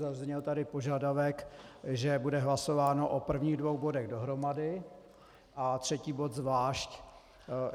Zazněl tady požadavek, že bude hlasováno o prvních dvou bodech dohromady a třetí bod zvlášť.